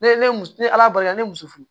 Ne ne muso ni ala barika ne ye muso furu